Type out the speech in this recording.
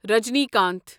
Rajinikanth